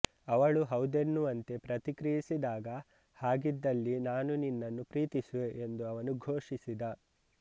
ಅವಳು ಹೌದೆನ್ನುವಂತೆ ಪ್ರತಿಕ್ರಿಯಿಸಿದಾಗ ಹಾಗಿದ್ದಲ್ಲಿ ನಾನು ನಿನ್ನನ್ನು ಪ್ರೀತಿಸುವೆ ಎಂದು ಅವನು ಘೋಷಿಸಿದ